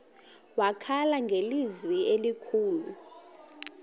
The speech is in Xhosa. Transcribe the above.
wakhala ngelizwi elikhulu